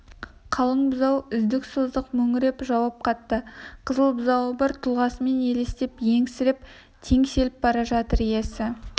қалың бұзау үздік-создық мөңіреп жауап қатты қызыл бұзауы бар тұлғасымен елестеп есеңгіреп теңселіп бара жатыр иесі